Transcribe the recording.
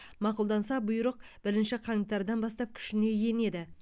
мақұлданса бұйрық бірінші қаңтардан бастап күшіне енеді